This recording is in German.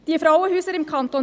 Die Frauenhäuser im Kanton